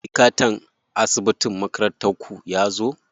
Likatan asibitin makarantar ku yazo?